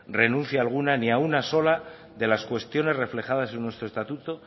renuncia alguna ni a una sola de las cuestiones reflejadas en nuestro estatuto